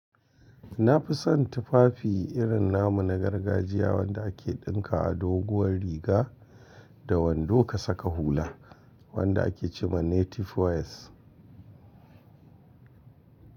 Na fi son tufafi irin namu na gargajiya wanda ake ɗinka a doguwar riga da wando ka saka hula wanda ake ce ma Native wears.